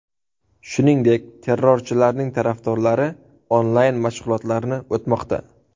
Shuningdek, terrorchilarning tarafdorlari onlayn-mashg‘ulotlarni o‘tamoqda.